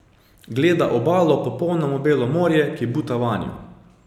Gleda obalo, popolnoma belo morje, ki buta vanjo.